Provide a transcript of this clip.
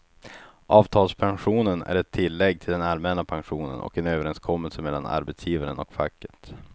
Avtalspensionen är ett tillägg till den allmänna pensionen och en överenskommelse mellan arbetsgivaren och facket.